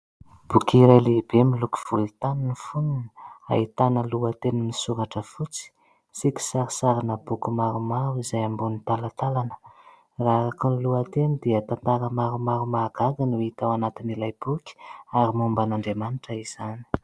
Boky iray lehibe miloko volontany ny foniny ahitana lohateny misoratra fotsy sy kisarisarina boky maromaro izay ambonin'ny talantalana. Raha araka ny lohateny dia tantara maromaro mahagaga no hita ao anatin'ilay boky ary momba an'Andriamanitra izany.